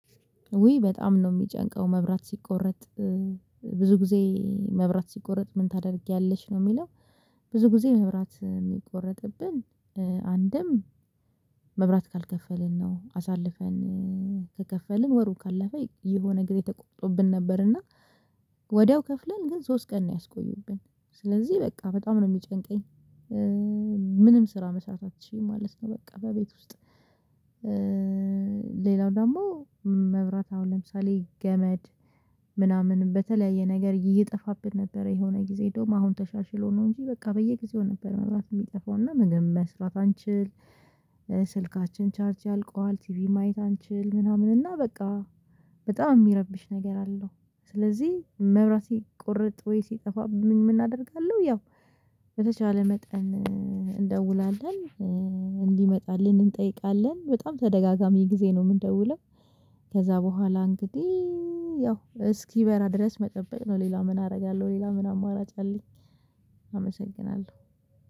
ውይ በጣም ነው የሚጨንቀው መብራት ሲቆረጥ ብዙ ጊዜ መብራት ሲቆረጥ ምን ታደርጊያለሽ ነው የሚለው? ብዙ ጊዜ መብራት የሚቆረጥብን አንድም መብራት ካልከፈልን ነው አሳልፈን ከከፈልን ወሩ ካለፈ የሆነ ጊዜ ተቆርጦብን ነበርና ወዲያው ከፍለን ግን ሶስት ቀን ነው ያስቆዩብን ስለዚህ በቃ በጣም ነው የሚጨንቀኝ። ምንም ስራ መስራት አልችልም ማለት ነው በቃ በቤት ውስጥ። ሌላው ደግሞ መብራት አሁን ለምሳሌ ገመድ ምናምን በተለያየ ነገር እየጠፋብን ነበረ የሆነ ጊዜ እንደውም አሁን ተሻሽሎ ነው እንጂ በቃ በየጊዜው ነበር መብራት የሚጠፋው እና ምንም መስራት አንችል። ስልካችን ቻርጅ አልቋል ቲቪ ማየት አንችል ምናምን እና በቃ በጣም የሚረብሽ ነገር አለው። ስለዚህ መብራቴ ሲቆርጥ ወይ ሲጠፋብኝ ምን እናደርጋለሁ? ያው በተቻለ መጠን እንደውላለን እንዲመጣልን እንጠይቃለን በጣም ተደጋጋሚ ጊዜ ነው የምንደውለው። ከዛ በኋላ እንግዲህ ያው እስኪበራ ድረስ መጠበቅ ነው ሌላ ምን አደርጋለሁ ሌላ ምን አማራጭ አለኝ?